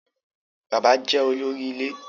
Bàbá jẹ́ olóri ilé.